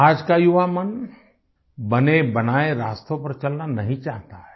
आज का युवा मन बने बनाए रास्तों पर चलना नहीं चाहता है